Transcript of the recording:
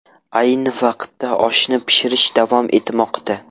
Ayni vaqtda oshni pishirish davom etmoqda.